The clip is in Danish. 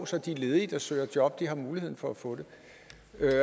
så de ledige der søger job har haft muligheden for at få det